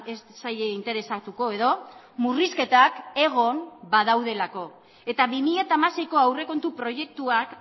ez zaie interesatuko edo murrizketak egon badaudelako eta bi mila hamaseiko aurrekontu proiektuak